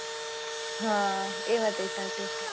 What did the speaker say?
હા એ વાત એ સાચી છે